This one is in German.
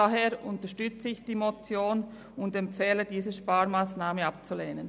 Daher unterstütze ich diese Motion und empfehle Ihnen, diese Sparmassnahme abzulehnen.